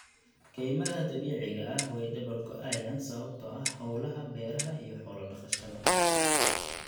Kaymaha dabiiciga ah way dabar go'ayaan sababtoo ah howlaha beeraha iyo xoolo dhaqashada.